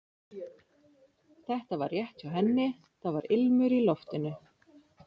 Þetta var rétt hjá henni, það var ilmur í loftinu.